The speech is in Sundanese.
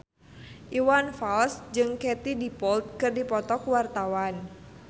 Iwan Fals jeung Katie Dippold keur dipoto ku wartawan